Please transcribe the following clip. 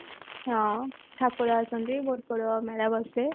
ହଁ ଠାକୁର ଆସନ୍ତି ବହୁତ ମେଳା ବସେ